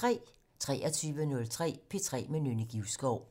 23:03: P3 med Nynne Givskov